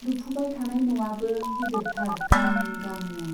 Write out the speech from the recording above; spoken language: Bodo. लुफुबाय थानाय न'आबो गिदिरथार गां गांनो।